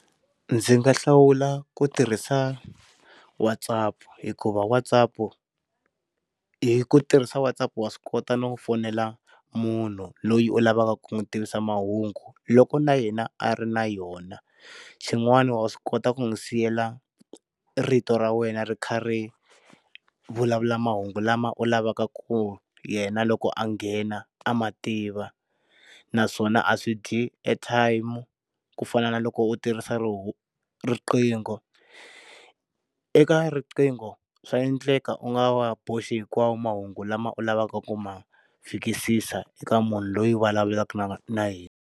Ndzi nga hlawula ku tirhisa WhatsApp hikuva WhatsApp hi ku tirhisa WhatsApp wa swi kota no fonela munhu loyi u lavaka ku n'wi tivisa mahungu loko na yena a ri na yona, xin'wani wa swi kota ku n'wi siyela rito ra wena ri karhi ri vulavula mahungu lama u lavaka ku yena loko a nghena a mativa naswona a swi a dyi airtime ku fana na loko u ti risa roho riqingho. Eka riqingho swa endleka u nga wa boxi hinkwawo mahungu lama u lavaka ku ma fikisisa eka munhu loyi u vulavulaka na yena.